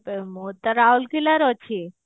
ମୁଁ ତ ରାଉଳକେଲା ରେ ଅଛି